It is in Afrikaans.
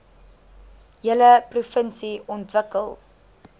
hele provinsie ontwikkel